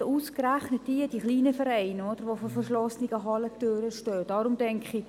Ich denke, dass es ausgerechnet die kleinen Vereine sind, die vor verschlossenen Hallentüren stehen.